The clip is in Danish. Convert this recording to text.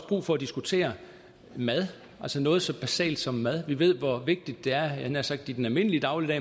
brug for at diskutere mad altså noget så basalt som mad vi ved hvor vigtigt det er jeg havde nær sagt i den almindelige dagligdag